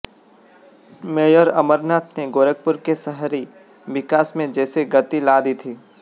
mayor Amarnath ने गोरखपुर के शहरी विकास में जैसे गति ला दी थी